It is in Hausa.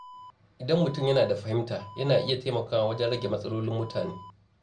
Idan mutum yana da fahimta, yana iya taimakawa wajen rage matsalolin mutane.